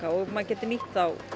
og maður getur nýtt þá